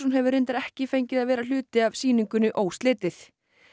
hefur reyndar ekki fengið að vera hluti af sýningunni óslitið